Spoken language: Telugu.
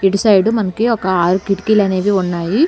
ఇటు సైడు మనకి ఒక ఆరు కిటికీలు అనేవి ఉన్నాయి.